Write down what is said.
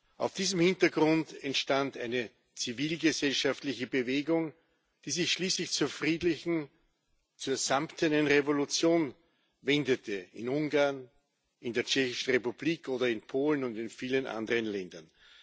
Vor diesem Hintergrund entstand eine zivilgesellschaftliche Bewegung, die sich schließlich zur friedlichen, zur samtenen Revolution wendete in Ungarn, in der Tschechischen Republik oder in Polen und in vielen anderen Ländern.